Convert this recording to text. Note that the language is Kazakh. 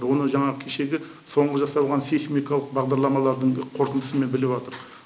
оны жаңағы кешегі соңғы жасалған сейсмикалық бағдарламалардың қорытындысымен біліпатырық